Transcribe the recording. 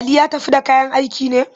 Ali ya tafi da kayan aikin ne?